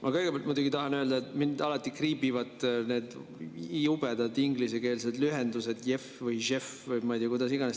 Ma kõigepealt muidugi tahan öelda, et mind alati kriibivad need jubedad ingliskeelsed lühendid, JEF või JEF või ma ei tea, kuidas iganes.